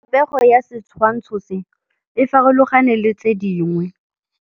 Popêgo ya setshwantshô se, e farologane le tse dingwe.